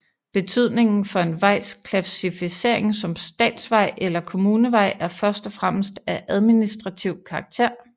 Betydningen for en vejs klassificering som statsvej eller kommunevej er først og fremmest af administrativ karakter